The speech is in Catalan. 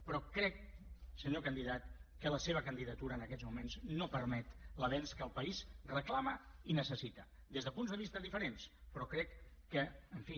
però crec senyor candidat que la seva candidatura en aquests moments no permet l’avenç que el país reclama i necessita des de punts de vista diferents però crec que en fi